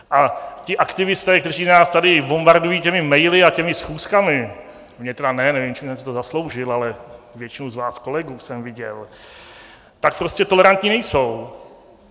A ti aktivisté, kteří nás tady bombardují těmi maily a těmi schůzkami - mě tedy ne, nevím, čím jsem si to zasloužil, ale většinu z vás, kolegů, jsem viděl -, tak prostě tolerantní nejsou.